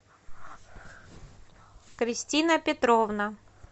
кристина петровна